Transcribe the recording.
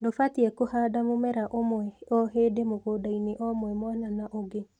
Ndũbatie kũhandaga mũmera ũmwe ohĩndĩ mũgũndainĩ omwe mwana na ũngi.